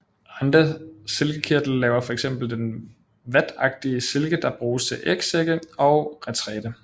Andre silkekirtler laver fx den vatagtige silke der bruges til ægsække og retræte